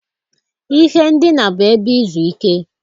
Ihe ndina bụ ebe izu ike.